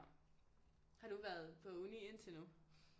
Har du været på uni indtil nu